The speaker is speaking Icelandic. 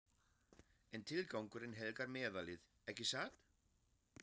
En tilgangurinn helgar meðalið, ekki satt?